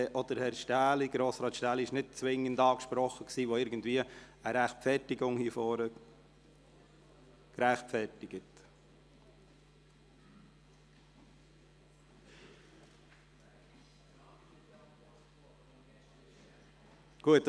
auch Grossrat Stähli wurde nicht zwingend so angesprochen, dass das irgendeine Replik hier vorne rechtfertigen würde.